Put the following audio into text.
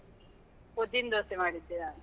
ಉದ್ದಿನ್ ದೋಸೆ ಮಾಡಿದ್ದೆ ನಾನು.